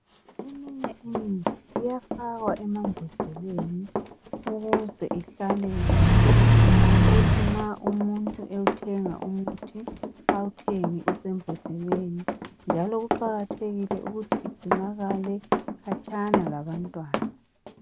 Eminye imithi iyafakwa emambodleleni ukuze ihlale ukuthi nxa umuntu ewuthenga umuthi awuthenge usembodleleni njalo kuqakathekile ukuthi igcinakale khatshana labantwana.